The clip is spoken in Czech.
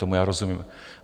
Tomu já rozumím.